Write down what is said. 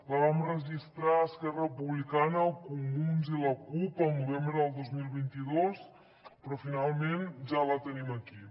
la vam registrar esquerra republicana els comuns i la cup el novembre del dos mil vint dos però finalment ja la tenim aquí